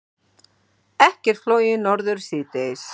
Ekkert flogið norður síðdegis